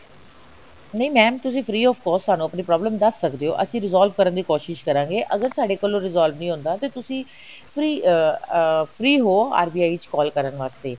ਨਹੀਂ mam ਤੁਸੀਂ ਸਾਨੂੰ ਆਪਣੀ free of cost problem ਦੱਸ ਸਕਦੇ ਹੋ ਅਸੀਂ resolve ਕਰਨ ਦੀ ਕੋਸ਼ਿਸ਼ ਕਰਾਂਗੇ ਅਗਰ ਸਾਡੇ ਕੋਲੋ resolve ਨਹੀਂ ਹੁੰਦਾ ਤਾਂ ਤੁਸੀ free ਅਹ ਅਹ free ਹੋ RBI ਵਿੱਚ call ਕਰਨ ਵਾਸਤੇ